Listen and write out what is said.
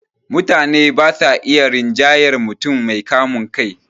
Mutane ba sa iya rinjayar mutum mai kamun kai